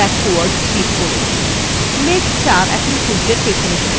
মেঘ ৪ এখন সূর্যের পিছনে চলে গেছে